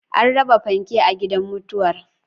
An raba fanke a gidan mutuwar